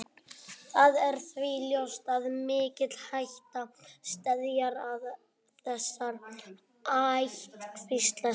Það er því ljóst að mikil hætta steðjar að þessari ættkvísl sela.